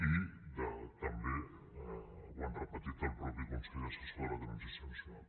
i també ho ha repetit el mateix consell assessor de la transició nacional